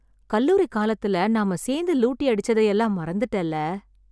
கல்லூரி காலத்துல நாம சேர்ந்து லூட்டி அடிச்சத எல்லாம் மறந்துட்டேல்ல...